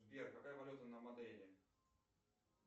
сбер какая валюта на мадейре